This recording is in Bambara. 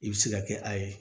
I bɛ se ka kɛ a ye